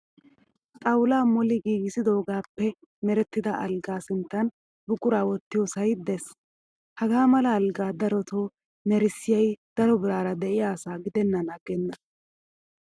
Xaawula moli giigissidoogaappe merettida alggaa sinttan buquraa wottiyoosayi des. Hagaa malaa algga daroto merissiyayi daro biraara diyaa asaa gidennan aggenna.